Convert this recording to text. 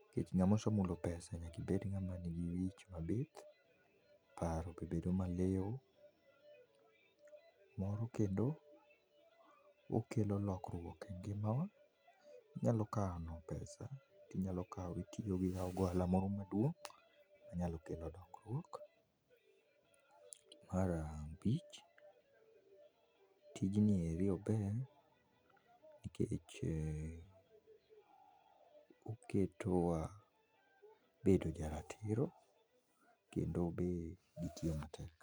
nikech ng'amose mulo pesa nyakibed ng'ama nigi wich mabith, paro be bedo maliw moro kendo okelo lokruok e ngimawa inyalo kano pesa inyalo kawo itimogo ohala moro maduong' onyalo kelo dongruok . Mar abich tijni eri obed nikech uh oketo wa bedo jaratiro kendo be gi tiyo matek.